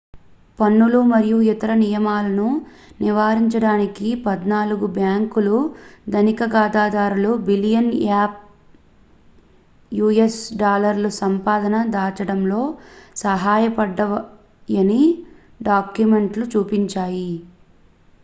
పన్నులు మరియు ఇతర నియమాలను నివారించడానికి పద్నాలుగు బ్యాంకులు ధనిక ఖాతాదారులకు బిలియన్ యుఎస్ డాలర్ల సంపదని దాచడంలో సహాయపడ్డాయని డాక్యుమెంట్లు చూపించాయి